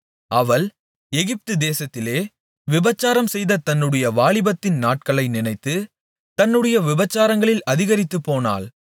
அவள் எகிப்துதேசத்திலே விபசாரம்செய்த தன்னுடைய வாலிபத்தின் நாட்களை நினைத்து தன்னுடைய விபசாரங்களில் அதிகரித்துப்போனாள்